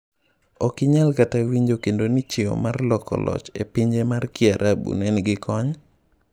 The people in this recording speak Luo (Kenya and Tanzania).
Ok inyal kata winjo kendo ni chiewo mar loko loch epinje mag kiarabu nenigi kony?